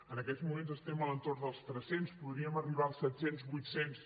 en aquests moments estem a l’entorn dels tres cents podríem arribar als set cents vuit cents